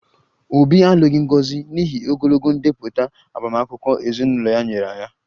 Obi alụghị Ngozi n'ihi ogologo ndepụta agbamakwụkwọ ezinụlọ ya nyere ya